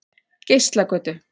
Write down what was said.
Geislagötu